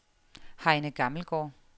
Heine Gammelgaard